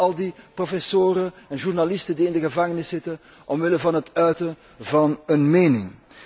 denk maar aan al die professoren en journalisten die in de gevangenis zitten vanwege het uiten van een mening.